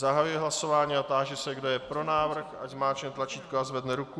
Zahajuji hlasování a táži se, kdo je pro návrh, ať zmáčkne tlačítko a zvedne ruku.